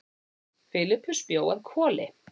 Filippus bjó að Hvoli.